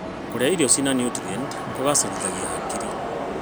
Kũrĩa irio cina niutrienti kũgacĩrithagia hakiri.